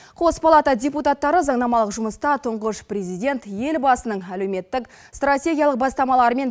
қос палата депутаттары заңнамалық жұмыста тұңғыш президент елбасының әлеуметтік стратегиялық бастамалары мен